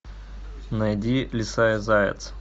найди лиса и заяц